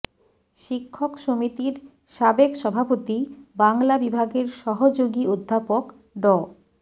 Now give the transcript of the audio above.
শিক্ষক সমিতির সাবেক সভাপতি বাংলা বিভাগের সহযোগী অধ্যাপক ড